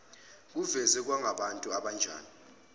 bavezwe bangabantu abanjani